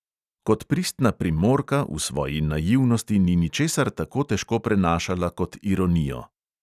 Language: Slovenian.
Kot pristna primorka v svoji naivnosti ni ničesar tako težko prenašala kot ironijo.